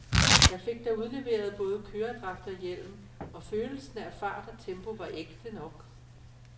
Jeg fik da udleveret både køredragt og hjelm, og følelsen af fart og tempo var ægte nok.